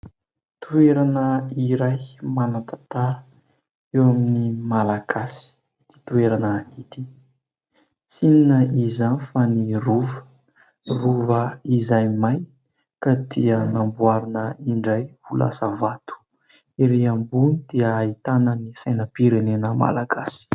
Toerana iray manan-tantara eo amin'ny malagasy ity toerana ity, tsy inona izany fa ny Rova, Rova izay may ka dia namboarina indray ho lasa vato, erỳ ambony dia ahitana ny sainam-pirenena malagasy.